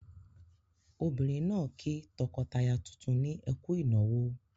Obìnrin náà kí tọkọtaya tuntun ní "ẹ kú ìnáwó".